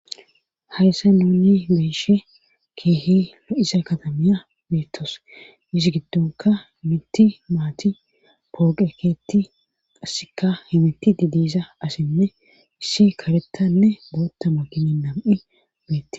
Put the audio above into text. Hayssa nuuni beeshe keehi lo'isa kadamiya beettos isi giddonka mitti maati pooge keetti qasseka he miti didisa asinne issi karettanne bootta ma gini nam'i beetti.